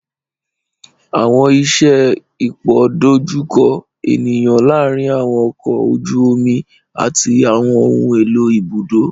Àwọn iṣẹ ipoidojuko eniyan laarin àwọn ọkọ oju omi ati àwọn ohun elo ibudo.